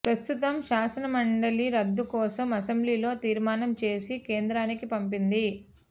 ప్రస్తుతం శాసనమండలి రద్దు కోసం అసెంబ్లీలో తీర్మానం చేసి కేంద్రానికి పంపింది